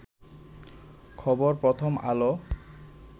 খবর প্রথম আলো